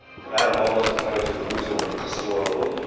әр мамандықтың әйтеуір өзінің бір қыр сырлары болады ғой